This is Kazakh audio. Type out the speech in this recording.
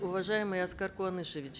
уважаемый аскар куанышевич